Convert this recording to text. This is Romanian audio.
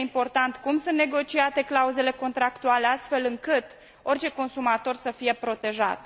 Este important cum sunt negociate clauzele contractuale, astfel încât orice consumator să fie protejat.